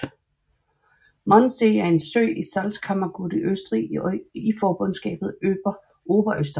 Mondsee er en sø i Salzkammergut i Østrig i forbundslandet Oberösterreich